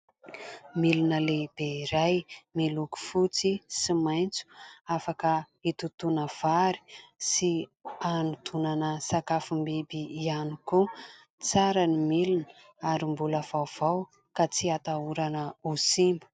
Milona lehibe iray miloko fotsy sy maintso. Afaka hitontona vary sy hanotonana sakafom-biby ihany koa. Tsara ny milona ary mbola vaovao ka tsy hatahorana ho simba.